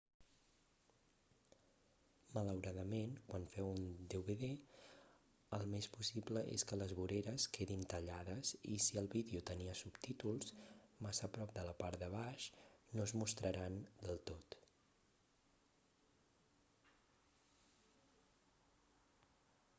malauradament quan feu un dvd el més possible és que les voreres quedin tallades i si el vídeo tenia subtítols massa a prop de la part de baix no es mostraran del tot